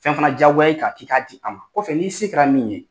Fɛn fana diyagoya i kan k'a di an ma kɔfɛ n'i se kɛra min ye.